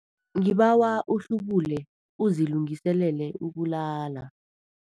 Ngibawa uhlubule uzilungiselele ukulala.